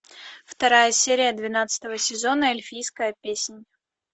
вторая серия двенадцатого сезона эльфийская песнь